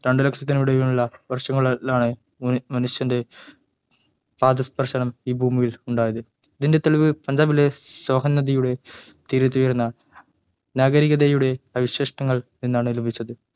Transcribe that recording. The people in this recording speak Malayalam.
രണ്ടു ലക്ഷണത്തിനും ഇടയിലുള്ള വർഷങ്ങളിലാണ് മനുഷ്യൻ്റെ പാദസ്പർശം ഈ ഭൂമിയിൽ ഉണ്ടായത് ഇതിൻ്റെ തെളിവ് പഞ്ചാബിലെ സോഹൻ നദിയുടെ തീരതുയർന്ന നാഗരികതയുടെ അവശിഷ്ടങ്ങൾ നിന്നാണ് ലഭിച്ചത്